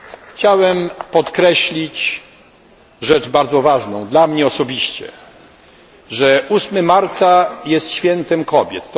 Chciałbym podkreślić rzecz bardzo ważną dla mnie osobiście, że 8 marca jest świętem kobiet.